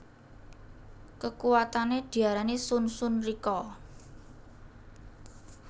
Kekuwatane diarani Shun Shun Rikka